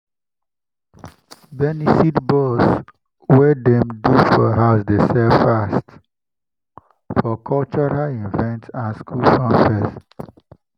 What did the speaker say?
to turn beans into moi moi mix dey make cooking faster for market women.